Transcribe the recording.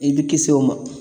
I bɛ kisi o ma